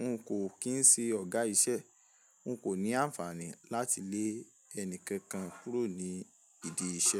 n kò kín si ọ̀gá iṣẹ́. N kò ní àǹfààní láti lé ẹni kankan kúrò ní ìdí iṣẹ́.